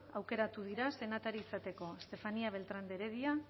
aukeratu dira senatari izateko estefanía beltrán de heredia